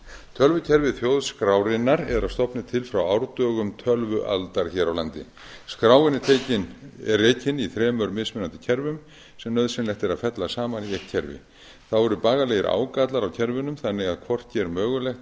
tölvukerfi þjóðskrárinnar er að stofni til frá árdögum tölvualdar hér á landi skráin er rekin í þremur mismunandi kerfum sem nauðsynlegt er að fella saman í eitt kerfi þá eru bagalegir ágallar á kerfunum þannig að hvorki er mögulegt